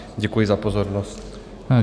Děkuji za pozornost.